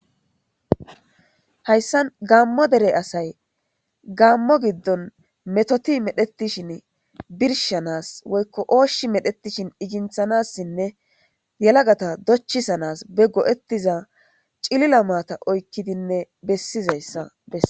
Hayssa gammo dere asay gammo giddon metoti medhetishin birshanas woykko ooshshi medhetishin iginthanassinne yelagata dochisanas be go7ettiza cilila maata oykkidinne bessizayssa bessa.